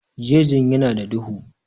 Jejin ya na da duhu